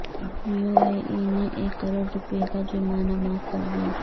you A E نے ایک کروڑ روپئے کا جرمانہ معاف کردیا